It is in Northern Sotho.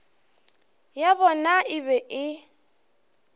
ya bona e be e